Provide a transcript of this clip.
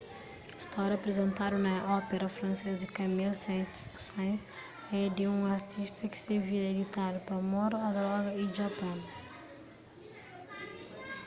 stória aprizentadu na ópera francês di camille saint-saens é di un artista ki se vida é ditadu pa amor a droga y a japon